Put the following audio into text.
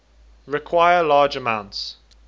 require large amounts